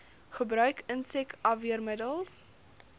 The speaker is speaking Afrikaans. gebruik insek afweermiddels